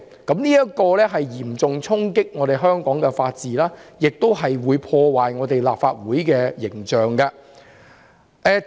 這嚴重衝擊香港的法治，亦會破壞立法會的形象。